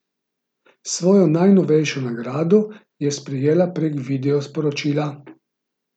Svojo najnovejšo nagrado je sprejela prek video sporočila.